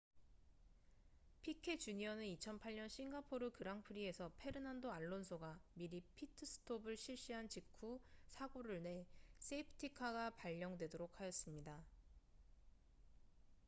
피케 주니어는 2008년 싱가포르 그랑프리에서 페르난도 알론소가 미리 피트스톱을 실시한 직후 사고를 내 세이프티카가 발령되도록 하였습니다